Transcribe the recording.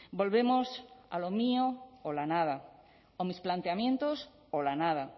volvemos a lo mío o la nada o mis planteamientos o la nada